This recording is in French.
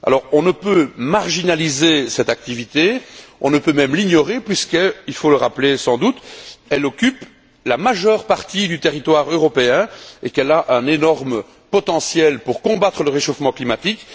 On ne peut marginaliser cette activité, on ne peut même l'ignorer puisque il faut le rappeler sans doute elle occupe la majeure partie du territoire européen et qu'elle a un énorme potentiel pour combattre le réchauffement climatique.